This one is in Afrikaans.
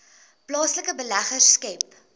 plaaslike beleggers skep